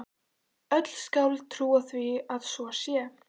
Öll skáld trúa því að svo sé.